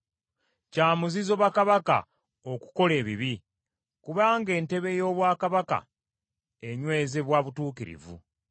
Kya muzizo bakabaka okukola ebibi, kubanga entebe ye ey’obwakabaka enywezebwa butuukirivu.